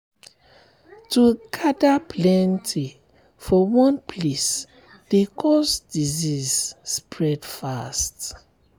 to gather plenty for one place dey cause disease spread fast.